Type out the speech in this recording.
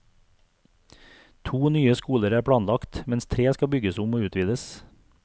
To nye skoler er planlagt, mens tre skal bygges om og utvides.